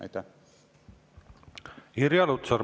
Irja Lutsar, palun!